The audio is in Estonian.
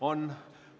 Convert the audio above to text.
On.